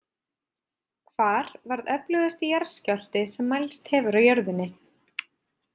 Hvar varð öflugasti jarðskjálfti sem mælst hefur á jörðinni?